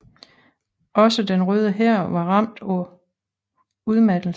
Også Den Røde Hær var ramt af udmattelse